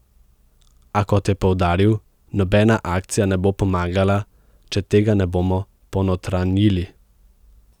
A kot je poudaril, nobena akcija ne bo pomagala, če tega ne bomo ponotranjili.